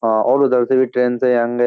हाँ और उधर से भी ट्रेन से ही आंगे ।